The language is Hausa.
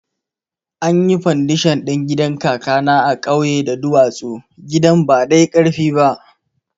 Anyi fandashon ɗin gidan kakana a kauye da duwatsu, gidan ba dai karfi ba